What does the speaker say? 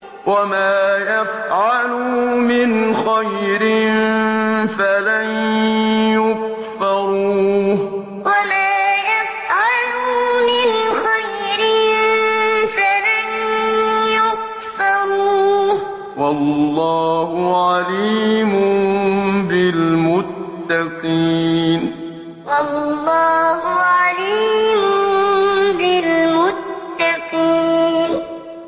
وَمَا يَفْعَلُوا مِنْ خَيْرٍ فَلَن يُكْفَرُوهُ ۗ وَاللَّهُ عَلِيمٌ بِالْمُتَّقِينَ وَمَا يَفْعَلُوا مِنْ خَيْرٍ فَلَن يُكْفَرُوهُ ۗ وَاللَّهُ عَلِيمٌ بِالْمُتَّقِينَ